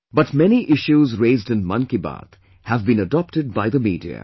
But many issues raised in Mann Ki Baat have been adopted by the media